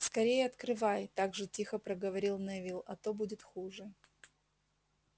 скорее открывай так же тихо проговорил невилл а то будет хуже